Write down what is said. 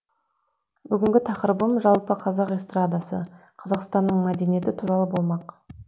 бүгінгі тақырыбым жалпы қазақ эстрадасы қазақстанның мәдениеті туралы болмақ